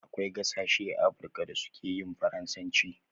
Akwai gasashe a africa da su keyin faransanci